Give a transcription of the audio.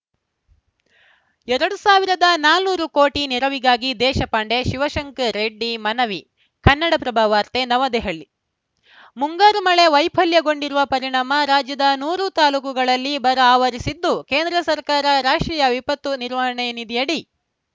ಎರಡು ಸಾವಿರದ ನಾಲ್ಕುನೂರು ಕೋಟಿ ನೆರವಿವಾಗಿ ದೇಶಪಾಂಡೆ ಶಿವಶಂಕರ ರೆಡ್ಡಿ ಮನವಿ ಕನ್ನಡಪ್ರಭ ವಾರ್ತೆ ನವದೆಹಲಿ ಮುಂಗಾರು ಮಳೆ ವೈಫಲ್ಯಗೊಂಡಿರುವ ಪರಿಣಾಮ ರಾಜ್ಯದ ನೂರು ತಾಲೂಕುಗಳಲ್ಲಿ ಬರ ಆವರಿಸಿದ್ದು ಕೇಂದ್ರ ಸರ್ಕಾರ ರಾಷ್ಟ್ರೀಯ ವಿಪತ್ತು ನಿರ್ವಹಣೆ ನಿಧಿಯಡಿ